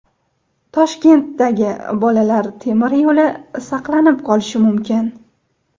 Toshkentdagi Bolalar temir yo‘li saqlanib qolishi mumkin.